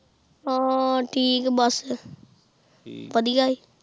ਹਨ ਠੀਕ ਆ ਬਸ ਵਧੀਆ ਆ